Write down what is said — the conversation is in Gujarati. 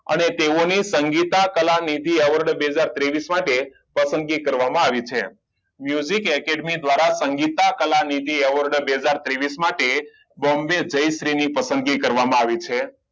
અને તેઓની સંગીતકલા નિધિ એવોર્ડ બે હાજર ત્રેવીસ માટે પસંદગી કરવામાં આવી છે academy દ્વારા સંગીતા કલા નિધિ એવોર્ડ બે હાજર ત્રેવીસ માટે બમ્બે જયશ્રી ની પસંદગી કરવામાં આવી છે